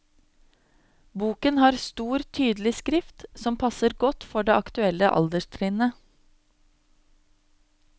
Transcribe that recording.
Boken har stor, tydelig skrift som passer godt for det aktuelle alderstrinnet.